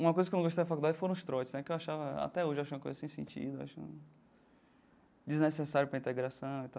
Uma coisa que eu não gostei da faculdade foram os trotes né, que eu achava até hoje eu acho uma coisa sem sentido, acho desnecessário para a integração e tal.